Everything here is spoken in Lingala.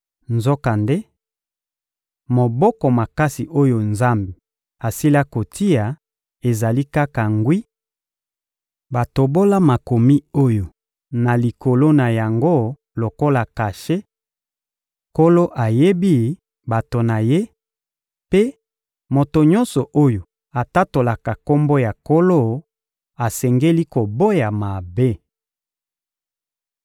Nzokande moboko makasi oyo Nzambe asila kotia ezali kaka ngwi; batobola makomi oyo na likolo na yango lokola kashe: «Nkolo ayebi bato na Ye,» mpe «Moto nyonso oyo atatolaka Kombo ya Nkolo asengeli koboya mabe.»